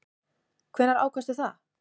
Hvenær ákvaðstu það?